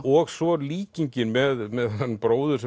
og svo líkingin með þennan bróður